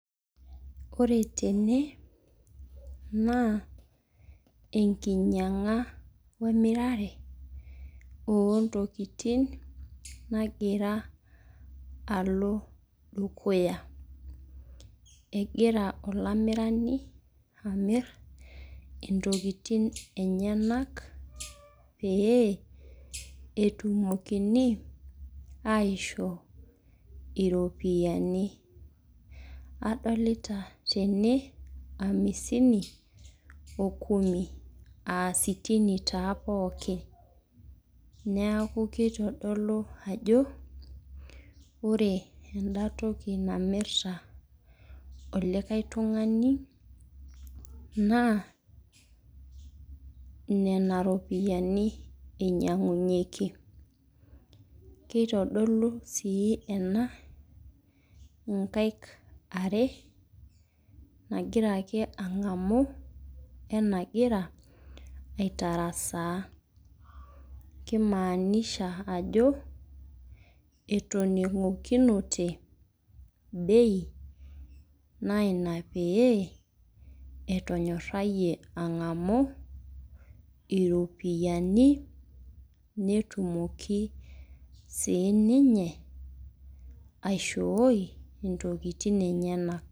Ore tene naa enkinyang'a wee mirare oo ntokitin nagira alo dukuya. Egira olamirani amir intokitin enyenak pee etumokini aishoo iropiani. Adolita tene amisini oo kumi. Aa sitini taa pookin. Neeku kitodolu ajo ore ena toki namirita olikae tung'ani naa nena ropiani inyang'unyeki. Kitodulu sii ena inkaik are nagira ake ang'amu .wee nagira aitarasa. Kei maanisha ajo etoning'okinote bei naa ina pee etonyarie ang'amu iropiani netumoki sii ninye aishoii intokitin enyenak.